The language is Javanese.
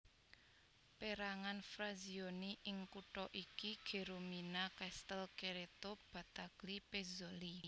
Pérangan frazioni ing kutha iki Geromina Castel Cerreto Battaglie Pezzoli